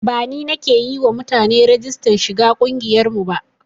Ba ni nake yi wa mutane rigistar shiga ƙungiyar mu ba